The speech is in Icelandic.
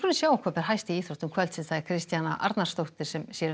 sjá hvað ber hæst í íþróttum kvöldsins Kristjana Arnarsdóttir sér um